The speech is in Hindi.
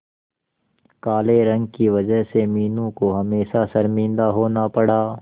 काले रंग की वजह से मीनू को हमेशा शर्मिंदा होना पड़ा